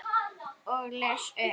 Og les upp.